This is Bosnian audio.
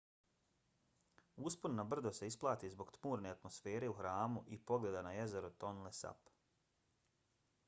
uspon na brdo se isplati zbog tmurne atmosfere u hramu i pogleda na jezero tonle sap